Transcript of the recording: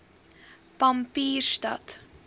pampierstad